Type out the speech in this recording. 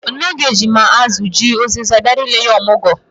Nne Oge ji ma azụ, ji, ụzịza were bịa ile ya ọmụgwọ.